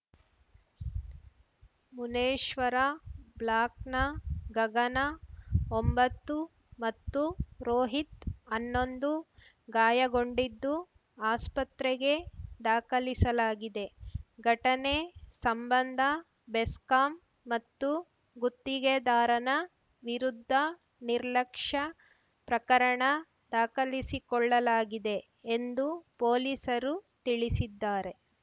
ಮುನೇಶ್ವರ ಬ್ಲಾಕ್‌ನ ಗಗನ ಒಂಬತ್ತು ಮತ್ತು ರೋಹಿತ್‌ ಅನ್ನೊಂದು ಗಾಯಗೊಂಡಿದ್ದು ಆಸ್ಪತ್ರೆಗೆ ದಾಖಲಿಸಲಾಗಿದೆ ಘಟನೆ ಸಂಬಂಧ ಬೆಸ್ಕಾಂ ಮತ್ತು ಗುತ್ತಿಗೆದಾರನ ವಿರುದ್ಧ ನಿರ್ಲಕ್ಷ್ಯ ಪ್ರಕರಣ ದಾಖಲಿಸಿಕೊಳ್ಳಲಾಗಿದೆ ಎಂದು ಪೊಲೀಸರು ತಿಳಿಸಿದ್ದಾರೆ